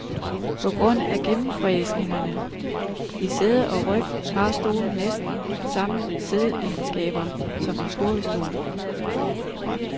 På grund af gennemfræsningerne i sæde og ryg har stolen næsten samme siddeegenskaber som en kurvestol.